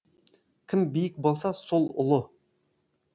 кім биік болса сол ұлы